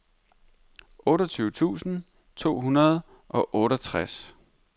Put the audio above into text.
otteogtyve tusind to hundrede og otteogtres